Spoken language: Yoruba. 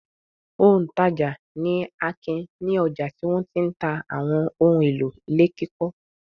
Òǹtajà ni Akin ní ọjà tí wọ́n ti ń ta àwọn ohun-èlò ilé kíkọ́.